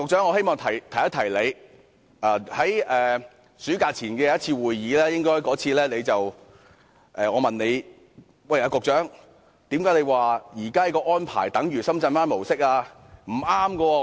我希望提醒陳帆局長，我在暑假前的一次會議曾問他，為甚麼他表示現在的安排等於深圳灣模式。